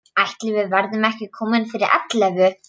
Ætli við verðum ekki komin fyrir ellefu.